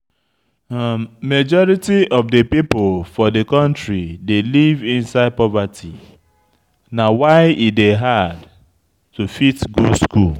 Majority of di pipo for di country dey live inside poverty, na why e dey hard to fit go school